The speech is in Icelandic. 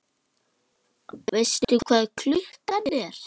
Veistu hvað klukkan er?